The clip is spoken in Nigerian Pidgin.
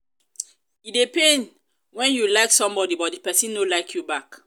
e dey pain when you like somebody but the person no like you back